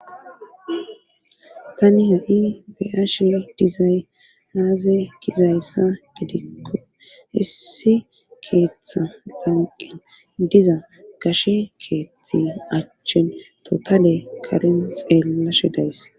Tani ha'i be'ash dizay haaze gizayssa gidikko issi keeththa banqen diza kashe keeththi achchen totale karen xeellashe days.